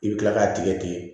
I bɛ kila k'a tigɛ tigɛ